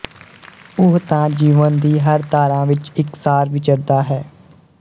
ਉਹ ਤਾਂ ਜੀਵਨ ਦੀ ਹਰ ਧਾਰਾ ਵਿੱਚ ਇੱਕ ਸਾਰ ਵਿਚਰਦਾ ਹੈ